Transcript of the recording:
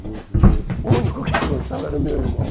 E o e o único que gostava era o meu irmão.